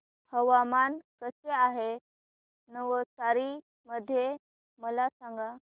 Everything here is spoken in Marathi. हवामान कसे आहे नवसारी मध्ये मला सांगा